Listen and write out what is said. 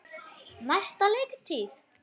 Næsta leiktíð?